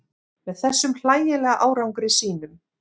Með þessum hlægilega árangri sínum.